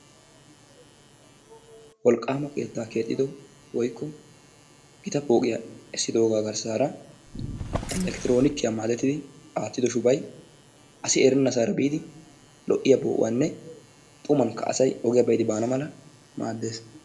Wolqqama keettaa keexxido woykko gita pooqiyaa esidoogaa garissara electroonikiya maadettidi aattido shubay asi erennasaara biidi lo'iyaa poo'uwaanne xumanikka asay ogiya be'idi baana mala maaddees.